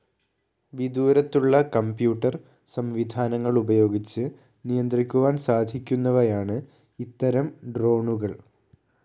വിദൂരത്തുള്ള computer സംവിധാനങ്ങളുപയോഗിച്ച് നിയന്ത്രിക്കുവാൻ സാധിക്കുന്നവയാണ് ഇത്തരം ഡ്രോണുകൾ